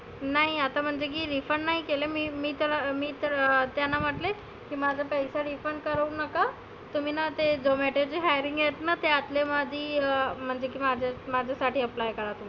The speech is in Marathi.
नाही आता म्हणजे की refund नाही केले मी तर मी तर अं त्यांना म्हटले, की माझे पैसे refund करु नका. तुम्ही ना ते zomato च्या hiring आहेत ना त्यातली माझी अं म्हणजे की माझा माझ्या साठी apply करा.